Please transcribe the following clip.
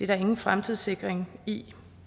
der ingen fremtidssikring i